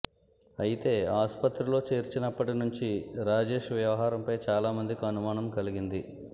అయితే ఆసుపత్రిలో చేర్చినప్పటి నుంచి రాజేష్ వ్యవహారంపై చాలామందికి అనుమానం కలిగింది